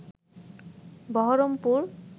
Baharampur